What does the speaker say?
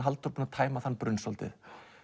Halldór búinn að tæma þann brunn svolítið